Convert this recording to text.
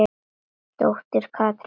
Dóttir Katrín Harpa.